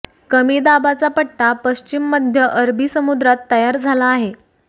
कमी दाबाचा पट्टा पश्चिम मध्य अरबी समुद्रात तयार झाला आहे